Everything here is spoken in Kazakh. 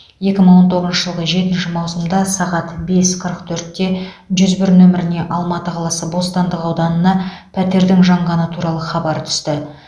екі мың он тоғызыншы жылғы жетінші маусымда сағат бес қырық төртте жүз бір нөміріне алматы қаласы бостандық ауданына пәтердің жанғаны туралы хабар түсті